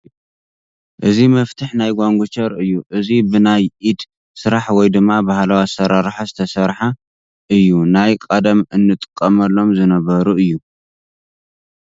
እዚ መፍትሕ ናይ ጓንጉቸር እዩ እዙይ ብ ናይ ኢድ ስራሕ ወይ ድማ ባህላዊ ኣሰራርሓ ዝተሰርሓ እዩ ናይ ቐደም እጥቐምሎም ዝነበሩ እዩ ።